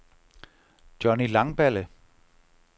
Johny Langballe